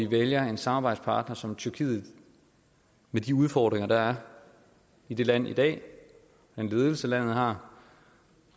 vælger en samarbejdspartner som tyrkiet med de udfordringer der er i det land i dag med den ledelse landet har